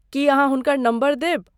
की अहाँ हुनकर नम्बर देब?